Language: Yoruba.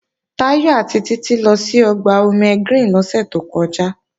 Táyọ̀ àti Títí lọ sí Ọgbà Omegreen lọ́sẹ̀ tó kọjá